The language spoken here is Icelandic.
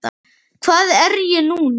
Hvað er ég núna?